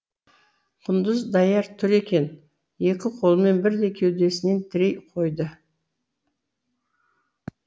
құндыз даяр тұр екен екі қолымен бірдей кеудесінен тірей қойды